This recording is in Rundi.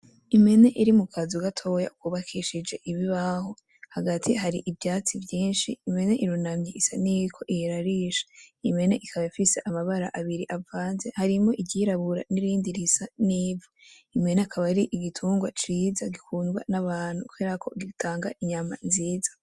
Impene iri mu kazu gatoya kubakishije ibibaho hagati hari ivyatsi vyinshi , impene irunamye isa n'iyiriko irarisha, impene ikaba ifise amabara atandukanye harimwo iry'irabura n'irindi risa n'ivu, impene akaba ari igitungwa ciza gikundwa n'abantu kubera ko gutanga inyama nziza.